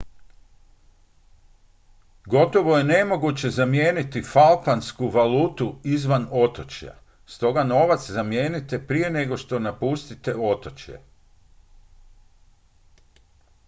gotovo je nemoguće zamijeniti falklandsku valutu izvan otočja stoga novac zamijenite prije nego što napustite otočje